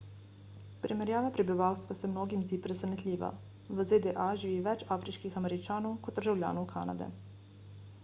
primerjava prebivalstva se mnogim zdi presenetljiva v zda živi več afriških američanov kot državljanov kanade